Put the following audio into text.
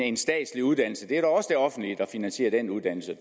en statslig uddannelse og det er også det offentlige der finansierer den uddannelse